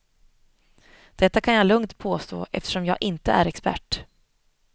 Detta kan jag lugnt påstå eftersom jag inte är expert.